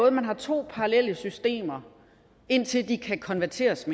at man har to parallelle systemer indtil de kan konverteres